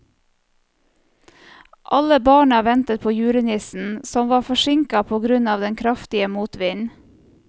Alle barna ventet på julenissen, som var forsinket på grunn av den kraftige motvinden.